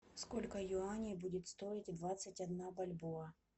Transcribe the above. сколько юаней будет стоить двадцать одна бальбоа